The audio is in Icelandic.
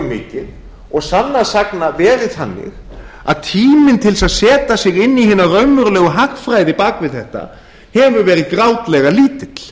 mikið og sannast sagna verið þannig að tíminn til þess að setja sig inn í hina raunverulegu hagfræði bak við þetta hefur verið grátlega lítill